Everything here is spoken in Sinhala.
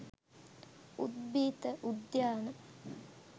උද්භිත උද්‍යාන